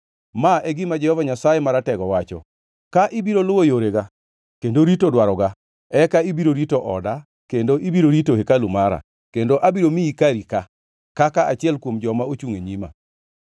“Ma e gima Jehova Nyasaye Maratego wacho: ‘Ka ibiro luwo yorega kendo rito dwaroga, eka ibiro rito oda kendo ibiro rito hekalu mara, kendo abiro miyi kari ka, kaka achiel kuom joma chungʼ e nyima.’